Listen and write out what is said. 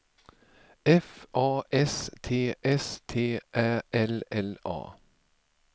F A S T S T Ä L L A